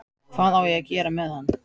Hvað á ég að gera með hann?